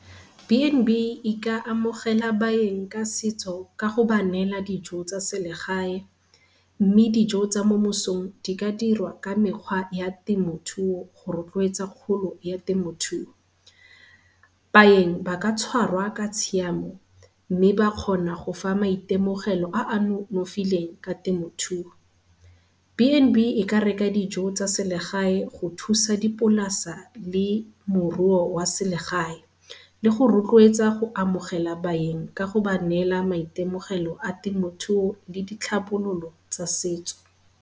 B_N_B e ka amogela baeng ka setso ka go ba neela dijo tsa selegae, mme dijo tsa mo mosong di ka dirwa ka mekgwa ya temothuo go rotloetsa kgolo ya temothuo. Baeng ba ka tshwarwa ka tshiamo mme ba kgona go fa maitemogelo a a nonofileng ka temothuo. B_N_B e ka reka dijo tsa selegae go thusa dipolasa le moruo wa selegae, le go rotloetsa go amogela baeng ka go ba neela maitemogelo a temothuo le ditlhabololo tsa setso.